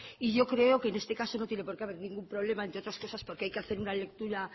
y yo creo que en este caso no tiene porqué haber ningún problema entre otras cosas porque hay que hacer una lectura